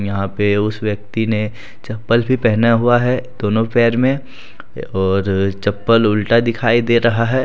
यहां पे उस व्यक्ति ने चप्पल भी पहना हुआ है दोनों पैर में और चप्पल उल्टा दिखाई दे रहा है।